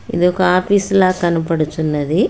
ఇదొక ఆఫీసులా కనపడుచున్నది.